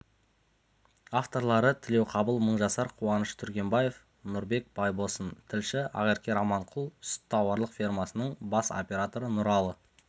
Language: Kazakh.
авторлары тілеуқабыл мыңжасар қуаныш түргенбаев нұрбек байбосын тілші ақерке раманқұл сүт тауарлық фермасының бас операторы нұралы